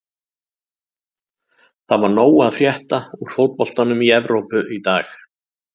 Það var nóg að frétta úr fótboltanum í Evrópu í dag.